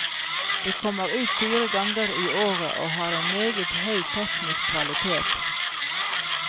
Det kommer ut fire ganger i året, og har en meget høy teknisk kvalitet.